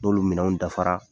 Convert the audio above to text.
N'olu minɛnw dafara.